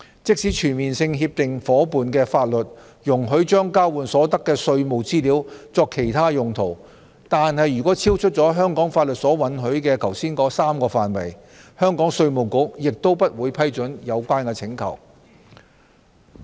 即使全面性協定夥伴的法律容許將交換所得的稅務資料作其他用途，但如果超出了香港法律所允許、剛才提及的3個範圍，香港稅務局也不會批准有關請求。